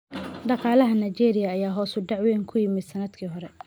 Dhaqaalaha Nigeria ayaa hoos u dhac weyn ku yimid sanadkii hore